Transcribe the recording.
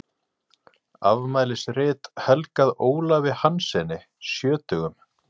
Afmælisrit helgað Ólafi Hanssyni sjötugum.